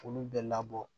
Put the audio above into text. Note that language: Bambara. K'olu bɛɛ labɔ